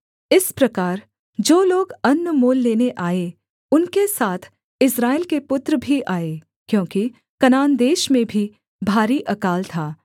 इस प्रकार जो लोग अन्न मोल लेने आए उनके साथ इस्राएल के पुत्र भी आए क्योंकि कनान देश में भी भारी अकाल था